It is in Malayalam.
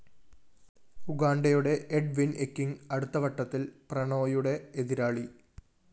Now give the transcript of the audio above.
ഉഗാണ്ടയുടെ എഡ്‌ വിൻ എകിങ് അടുത്ത വട്ടത്തില്‍ പ്രണോയുടെ എതിരാളി